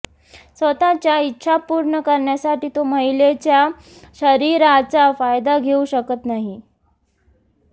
स्वतःच्या इच्छा पूर्ण करण्यासाठी तो महिलेच्या शरीराचा फायदा घेऊ शकत नाही